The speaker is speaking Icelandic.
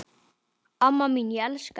Amma mín, ég elska þig.